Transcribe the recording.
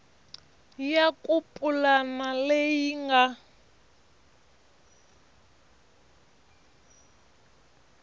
ya ku pulana leyi nga